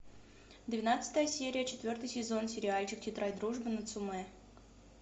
двенадцатая серия четвертый сезон сериальчик тетрадь дружбы нацумэ